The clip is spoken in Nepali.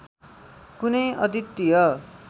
कुनै अद्वितीय